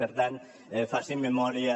per tant facin memòria